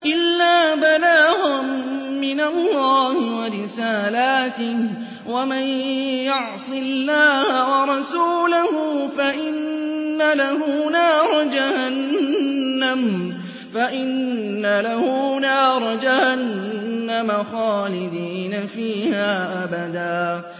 إِلَّا بَلَاغًا مِّنَ اللَّهِ وَرِسَالَاتِهِ ۚ وَمَن يَعْصِ اللَّهَ وَرَسُولَهُ فَإِنَّ لَهُ نَارَ جَهَنَّمَ خَالِدِينَ فِيهَا أَبَدًا